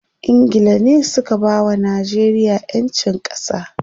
Ingila ne suka bawa Najeriya ƴancin ƙasa.